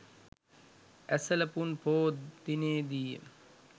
ඇසළ පුන් පෝ දිනයේ දී ය.